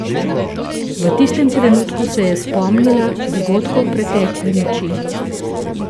V tistem trenutku se je spomnila dogodkov pretekle noči.